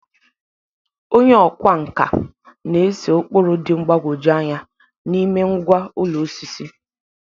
Onye ọkwá nkà na-ese ụkpụrụ dị mgbagwoju anya n'ime ngwá ụlọ osisi.